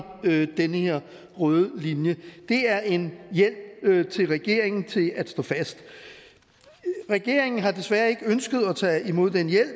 den her røde linje det er en hjælp til regeringen til at stå fast regeringen har desværre ikke ønsket at tage imod den hjælp